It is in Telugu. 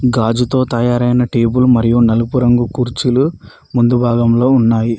గాజుతో తయారైన టేబుల్ మరియు నలుపు రంగు కుర్చీలు ముందు భాగంలో ఉన్నాయి.